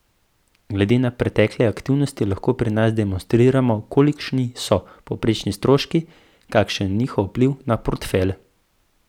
Glede na pretekle aktivnosti lahko pri nas demonstriramo, kolikšni so povprečni stroški, kakšen je njihov vpliv na portfelj.